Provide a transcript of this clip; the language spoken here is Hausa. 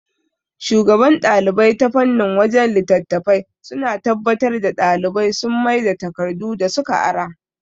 Shugaban ɗalibai ta fannin wajan littatafai suna tabbatar da ɗalibai sun maida takardu da suka ara